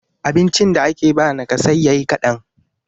abincin da ake ba nakasayya yi kadan